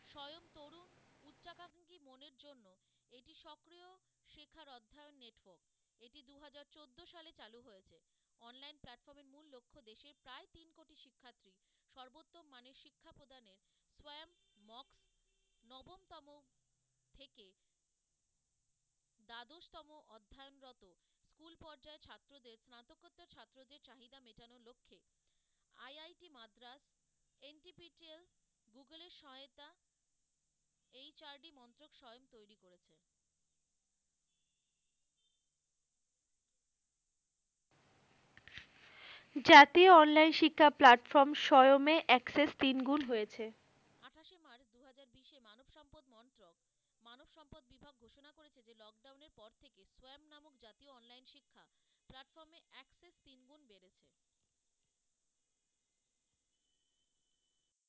জাতীয় online শিক্ষা platform সোয়মে access তিন গুণ হয়েছে।